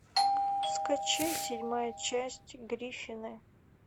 скачай седьмая часть гриффины